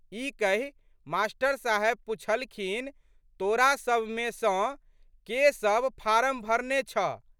ई कहि मा.साहेब पुछलखिन, तोरासबमे सँ के सब फारम भरने छह?